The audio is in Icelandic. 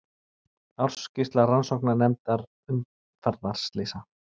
Ársskýrsla Rannsóknarnefndar umferðarslysa